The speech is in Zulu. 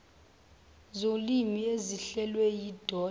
zolimi ezihlelwe yidod